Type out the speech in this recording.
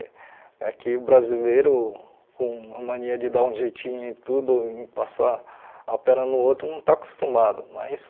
É que o brasileiro, com a mania de dar um jeitinho em tudo, em passar a perna no outro, não está acostumado, mas...